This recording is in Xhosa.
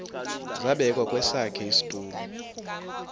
zabekwa kwesakhe isitulo